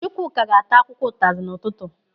Chukwuka ga-ata akwụkwọ ụtazi n'ụtụtụ.